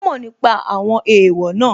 Ó mọ̀ nípa àwọn èèwọ̀ náà